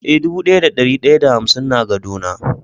Eh, dubu daya da dari daya da hamsin na gado na.